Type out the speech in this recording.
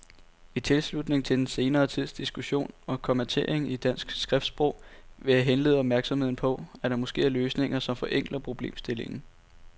I tilslutning til den senere tids diskussion om kommatering i dansk skriftsprog vil jeg henlede opmærksomheden på, at der måske er løsninger, som forenkler problemstillingen.